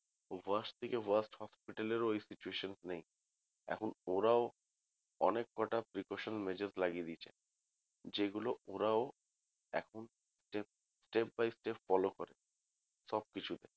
Worst থেকে worst hospital এও এখন ওরম situation নেই এখন ওরাও অনেক কটা precautions major লাগিয়ে দিয়েছে যেগুলো ওরাও এখন step step by step follow করে সবকিছু কেই।